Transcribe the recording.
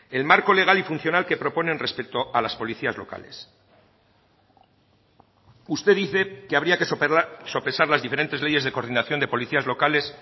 el marco legal y funcional que proponen respecto a las policías locales usted dice que habría que sopesar las diferentes leyes de coordinación de policías locales